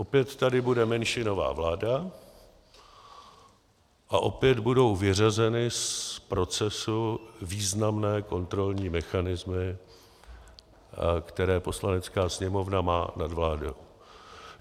Opět tady bude menšinová vláda a opět budou vyřazeny z procesu významné kontrolní mechanismy, které Poslanecká sněmovna má nad vládou.